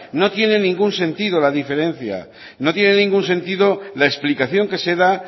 no tiene ningún sentido la diferencia no tiene ningún sentido la explicación que se da